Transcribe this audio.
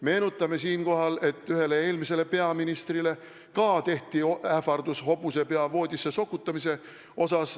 Meenutame siinkohal, et ühele eelmisele peaministrile ka tehti ähvardus, lubati talle hobusepea voodisse sokutada.